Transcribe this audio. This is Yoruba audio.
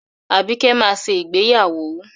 Àbíkẹ́ máa ṣe ìgbéyàwó.